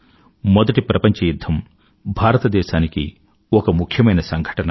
మొదటి ప్రపంచ యుధ్ధం భారతదేశానికి ఒక ముఖ్యమైన సంఘటన